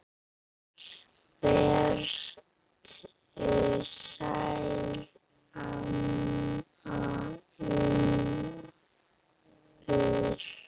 Vertu sæl, amma Unnur.